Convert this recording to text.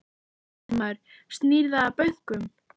Fréttamaður: Snýr það að bönkunum?